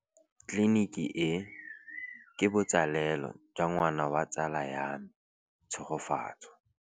Tleliniki e, ke botsalêlô jwa ngwana wa tsala ya me Tshegofatso.